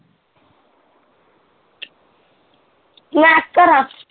ਮੈਂ ਕੀ ਕਰਾ